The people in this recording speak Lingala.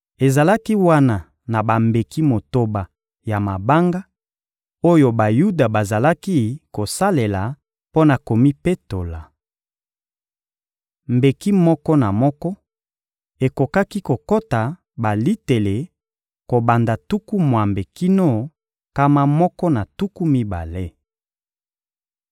Ezalaki wana na bambeki motoba ya mabanga, oyo Bayuda bazalaki kosalela mpo na komipetola. Mbeki moko na moko ekokaki kokota balitele kobanda tuku mwambe kino nkama moko na tuku mibale.